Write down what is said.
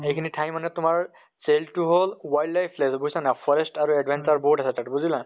এইখিনি ঠাই মানে তোমাৰ চেইল টো হʼল wild life বুইছা নে নাই? forest আৰু adventure বহুত আছে তাত বুজিলা?